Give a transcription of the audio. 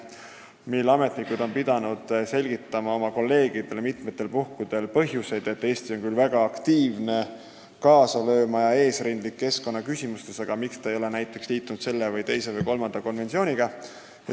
Meie ametnikud on pidanud oma kolleegidele mitmel puhul selgitama põhjuseid, miks Eesti, kes on küll väga aktiivne selles valdkonnas kaasa lööma ja üldse keskkonnaküsimustes eesrindlik olnud, ei ole liitunud selle, teise või kolmanda konventsiooniga.